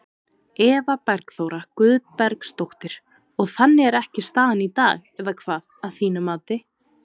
Eva Bergþóra Guðbergsdóttir: Og þannig er ekki staðan í dag eða hvað, að þínu mati?